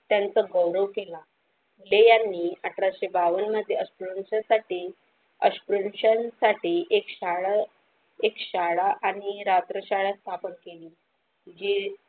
त्यानं चा गौरव केला फुले यांनी अठराशे बावन मध्ये अस्पृश्य जातीसाठी अस्पृश्य जातीसाठी एक शाळा एक शाळा आणि रात्र शाळा स्थापन केली जे.